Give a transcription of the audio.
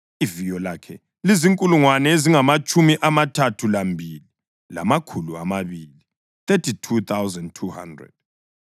Iviyo lakhe lizinkulungwane ezingamatshumi amathathu lambili, lamakhulu amabili (32,200).